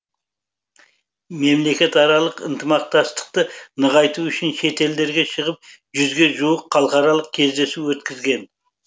мемлекетаралық ынтымақтастықты нығайту үшін шетелдерге шығып жүзге жуық халықаралық кездесу өткізген